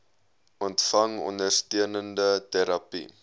ontvang ondersteunende terapie